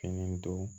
Fɛn don